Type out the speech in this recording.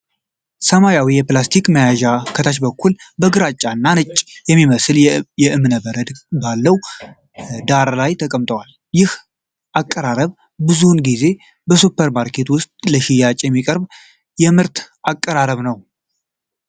ሰማያዊው የፕላስቲክ መያዣ ከታች በኩል በግራጫ እና ነጭ በሚመስል የእብነበረድቅርጽ ባለው ዳራ ላይ ተቀምጧል። ይህ አቀራረብ ብዙውን ጊዜ በሱፐር ማርኬቶች ውስጥ ለሽያጭ የሚቀርብ ምርት አቀራረብ ነው።